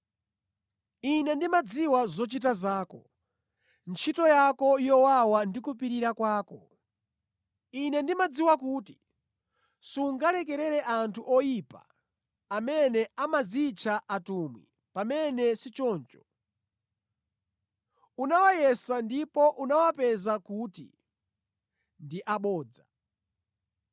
Ine ndimadziwa zochita zako, ntchito yako yowawa ndi kupirira kwako. Ine ndimadziwa kuti sungalekerere anthu oyipa amene amadzitcha atumwi pamene sichoncho, unawayesa, ndipo unawapeza kuti ndi abodza.